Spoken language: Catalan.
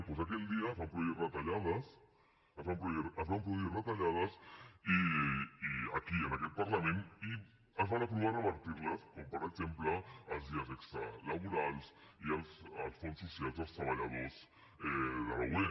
doncs aquell dia es van produir retallades es van produir retallades i aquí en aquest parlament es va aprovar revertir les com per exemple els dies extres laborals i els fons socials dels treballadors de la ub